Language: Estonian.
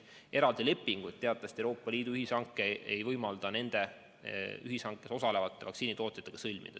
Eraldi lepinguid teatavasti Euroopa Liidu ühishange ei võimalda nende ühishankes osalevate vaktsiinitootjatega sõlmida.